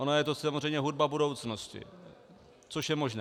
Ona je to samozřejmě hudba budoucnosti, což je možné.